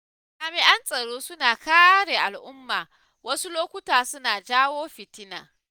Jami'an tsaro suna kare al'umma wasu lokuta suna jawo fitina.